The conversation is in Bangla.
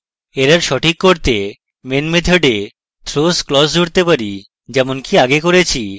error সঠিক করতে main method we throws clause জুড়তে পারি যেমনকি আগে করেছি